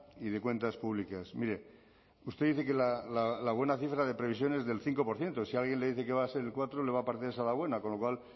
y de cuentas públicas mire usted dice que la buena cifra de previsión es del cinco por ciento si alguien le dice que va a ser el cuatro le va a parecer esa la buena con lo cual